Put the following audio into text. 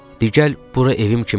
Di gəl bura evim kimidir.